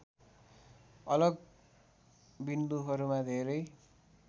अलग बिन्दुहरूमा धेरै